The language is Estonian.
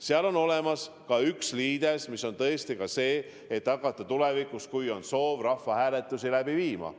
Seal on tõesti olemas ka üks liides, et hakata tulevikus, kui on soov, rahvahääletusi läbi viima.